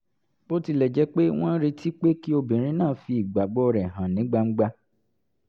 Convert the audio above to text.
bó tilẹ̀ jẹ́ pé wọ́n retí pé kí obìnrin náà fi ìgbàgbọ́ rẹ̀ hàn ní gbangba